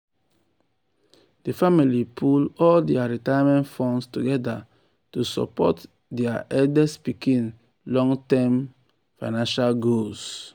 di family pool all dia retirement funds together to support dia eldest pikin long-term eldest pikin long-term financial goals.